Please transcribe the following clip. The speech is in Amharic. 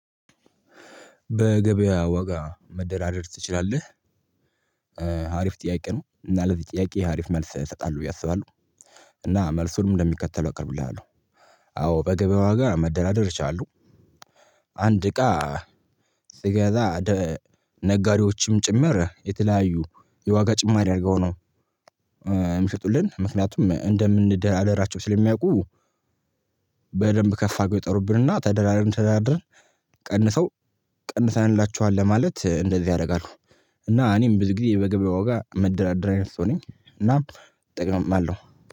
በገበያ ዋጋ መደራደር ትችላለህ አሪፍ ጥያቄ ነው እና ለዚህ ጥያቄ ሀሪፍ መልስ እሰጣለሁ ብዬ አስባለሁ እና መልሱንም እንደሚከተለው አቅርብልሃለሁ አዎ በገበያ ዋጋ መደላደር እችላለሁ። አንድ እቃ ስገዛ ነጋዴዎችም ጭምር የተለያዩ የዋጋ ጭማሪ አድርገው ነው የሚሸጡልን። ምክንያቱም እንደምንደራደራቸው ስለሚያውቁ በደንብ ከፍ አድርገው ይጠሩብንና ተደራድረን ተደራድረን ቀንሰው ቀንሰንላቹሃል ለማለት እንደዚህ ያደርጋሉ። እና እኔም ብዙ ጊዜ በገበያው ዋጋ የምደራደር አይነት ሰው ነኝ። እና ጥቅምም አለው።